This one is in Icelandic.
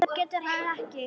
En það getur hann ekki.